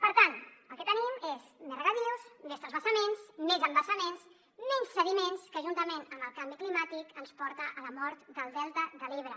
per tant el que tenim és més regadius més transvasaments més embassaments menys sediments que juntament amb el canvi climàtic ens porta a la mort del delta de l’ebre